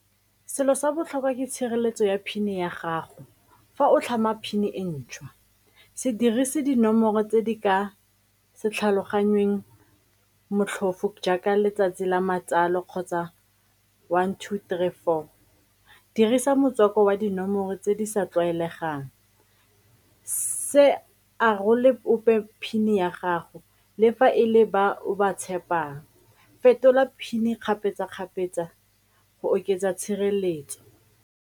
Selo sa botlhokwa ke tshireletso ya PIN-e ya gago fa o tlhama PIN-e e ntšhwa. Se dirise dinomoro tse di ka se tlhaloganyeng motlhofo jaaka letsatsi la matsalo kgotsa one, two, three, four, dirisa motswako wa dinomoro tse di sa tlwaelegang, se arole ope PIN-e ya gago le fa e le ba o ba tshepang, fetola PIN-e kgapetsa-kgapetsa go oketsa tshireletso.